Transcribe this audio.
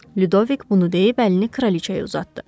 Lüdvick bunu deyib əlini Kraliçəyə uzatdı.